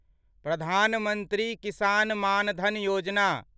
Pradhan Mantri Kisan Maan Dhan Yojana